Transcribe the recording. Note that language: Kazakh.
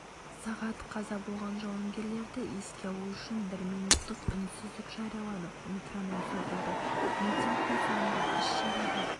сағат қаза болған жауынгерлерді еске алу үшін бір минуттық үнсіздік жарияланып метроном соғылды митингтің соңында іс--шараға